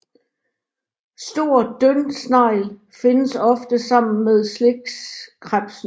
Stor dyndsnegl findes ofte sammen med slikkrebsen